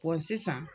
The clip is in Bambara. sisan